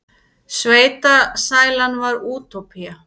Sveitasælan var útópía.